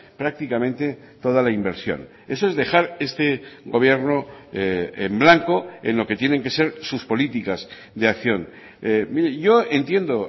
prácticamente toda la inversión eso es dejar este gobierno en blanco en lo que tienen que ser sus políticas de acción mire yo entiendo